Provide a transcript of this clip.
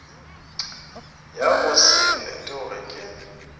ya go se fetoge ke